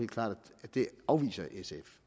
klart at det afviser sf